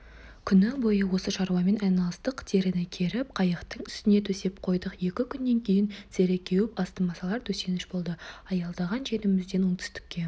күні бойы осы шаруамен айналыстық теріні керіп қайықтың үстіне төсеп қойдық екі күннен кейін тері кеуіп астыма салар төсеніш болды аялдаған жерімізден оңтүстікке